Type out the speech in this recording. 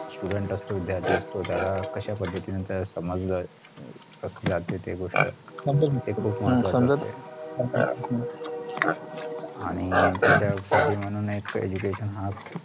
student असतो विद्यार्थी असतो त्याला कश्या पद्धतीने ते समजल जाते ते गोष्ट आणि त्याच्यासाठि म्हणून education हा